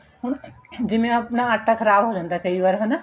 ਹੁਣ ਜਿਵੇਂ ਆਪਣਾ ਆਟਾ ਖ਼ਰਾਬ ਹੋ ਜਾਂਦਾ ਏ ਕਈ ਵਾਰ ਹਨਾ